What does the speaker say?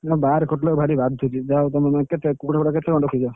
ବାହାରେ ଖଟିଲେ ଭାରି ବାଧୁଛି, କୁକୁଡ଼ା କେତେ କଣ ରଖିଛ?